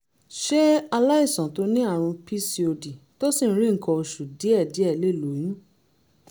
ṣé aláìsàn tó ní àrùn pcod tó sì ń rí nǹkan oṣù díẹ̀díẹ̀ lè lóyún?